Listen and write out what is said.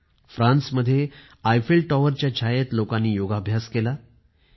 UAE मध्ये Abu Dhabi इथं ४ हजारांहून अधिक लोकांनी सामूहिक योगाभ्यास केला